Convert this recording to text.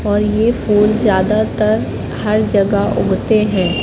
और ये फूल ज्यादातर हर जगह उगते हैं।